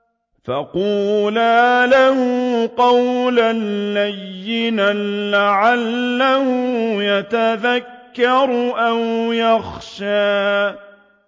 فَقُولَا لَهُ قَوْلًا لَّيِّنًا لَّعَلَّهُ يَتَذَكَّرُ أَوْ يَخْشَىٰ